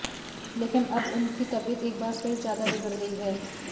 लेकिन अब उनकी तबीयत एक बार फिर ज्यादा बिगड़ गई है